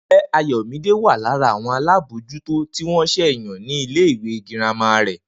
Ǹjé̩ Ayò̩mídé wà lára àwo̩n alábòójútó tí wó̩n s̩è̩ yàn ní ilé ìwé girama rè̩?